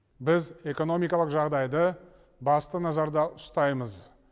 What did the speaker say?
біз экономикалық жағдайды басты назарда ұстаймыз